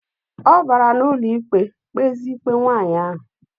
Obara na ụlọikpe kpeze ikpe nwaanyi ahu.